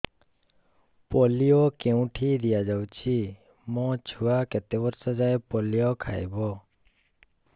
polio କେଉଁଠି ଦିଆଯାଉଛି ମୋ ଛୁଆ କେତେ ବର୍ଷ ଯାଏଁ ପୋଲିଓ ଖାଇବ